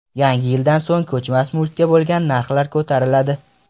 Yangi yildan so‘ng ko‘chmas mulkka bo‘lgan narxlar ko‘tariladi.